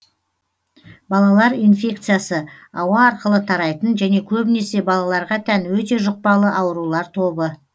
балалар инфекциясы ауа арқылы тарайтын және көбінесе балаларға тән өте жұқпалы аурулар тобы